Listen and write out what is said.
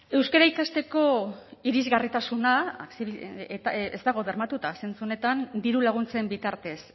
euskara ikasteko irisgarritasuna ez dago bermatuta zentzu honetan diru laguntzen bitartez